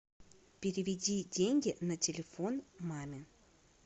переведи деньги на телефон маме